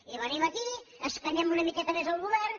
i venim aquí escanyem una mica més el govern